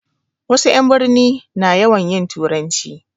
Wasu 'yan birni na yawan yin turanci